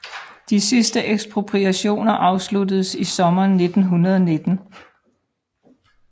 De sidste ekspropriationer afsluttedes i sommeren 1919